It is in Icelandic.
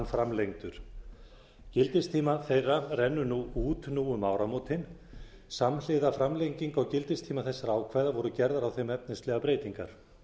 framlengdur gildistími þeirra rennur út nú um áramótin samhliða framlengingu á gildistíma þessara ákvæða voru gerðar á þeim efnislegar breytingar